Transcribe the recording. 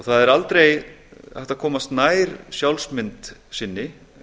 það er aldrei hægt að komast nær sjálfsmynd sinni